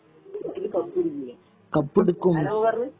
ഇതില് കപ്പെടുക്കും അതല്ലേ ഓൻ പറഞ്ഞേ